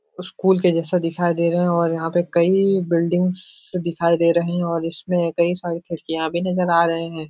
School के जैसा दिखाई दे रहा है और यहाँ पे कई बिल्डिंग्स दिखाई दे रही हैं और इसमें कई सारी खिड़कियाँ भी नजर आ रहे हैं।